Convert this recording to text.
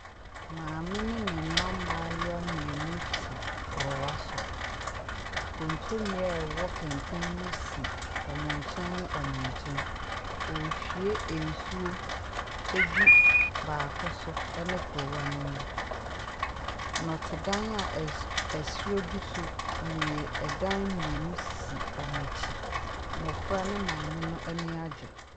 Maame ne ne mma mayewa mienu te korowa so. Kontommire a 3w) k3nt3n mu si )mo ky3n ne )mo ky3n .)rehwie nsuo agu baako so 3ne korowa no mu . N)te Dan a 3ser3 agu so. 3dan mmienu asisi )mo akyi , mm)fra no maame ani agye.